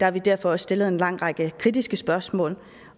har vi derfor også stillet en lang række kritiske spørgsmål